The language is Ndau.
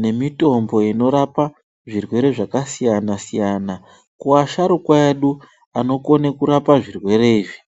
nemitombo inorapa zvirwere zvakasiyana siyana, kuvasharukwa edu anokone kurapa zvirwere izvi.